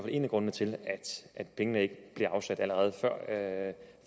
en af grundene til at pengene ikke blev afsat allerede